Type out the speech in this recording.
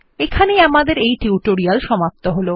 এখানেই আমাদেরএই টিউটোরিয়ালটি শেষ হলো